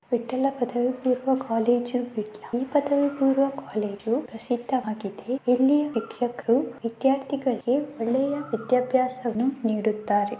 ವಿಠ್ಠಲ ಪಧವಿ ಪೂರ್ವ ಕಾಲೇಜು. ಈ ಪದವಿ ಪೂರ್ವ ಕಾಲೇಜು ಪ್ರಸಿದ್ಧವಾಗಿಧೆ ಎಲ್ಲಿ ಶಿಕ್ಷಕರು ವಿದ್ಯಾರ್ಥಿಗಳಿಗೆ ಒಳ್ಳೆಯ ವಿಧ್ಯಬ್ಯಾಸವನ್ನು ನೀಡುತ್ತಾರೆ.